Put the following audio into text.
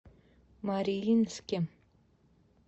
мариинске